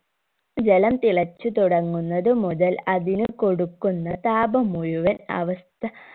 ജലം തിളച്‌ തുടങ്ങുന്നത് മുതൽ അതിന് കൊടുക്കുന്ന താപം മുഴുവൻ അവസ്ഥ